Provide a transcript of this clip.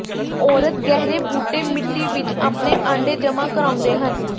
ਔਰਤ ਗਹਿਰੇ ਬੂਟੇ ਮਿੱਟੀ ਵਿਚ ਆਪਣੇ ਆਂਡੇ ਜਮ੍ਹਾਂ ਕਰਾਉਂਦੇ ਹਨ